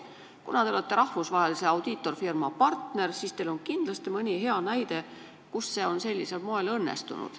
Kuna te olete rahvusvahelise audiitorfirma partner, siis on teil kindlasti mõni hea näide, kus see on sellisel moel õnnestunud.